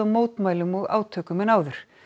mótmælum og átökum en áður